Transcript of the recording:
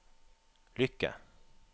lykke